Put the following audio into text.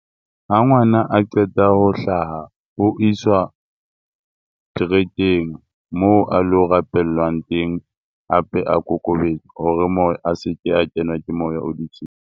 Ha ngwana a qeta ho hlaha o iswa trekeng moo a lo rapellwang teng hape a hore moo a seke a kenwa ke moya o .